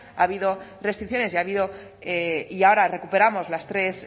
ha habido restricciones y ha habido y ahora recuperamos los tres